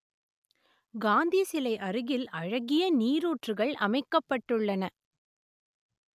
காந்தி சிலை அருகில் அழகிய நீரூற்றுகள் அமைக்கப்பட்டுள்ளன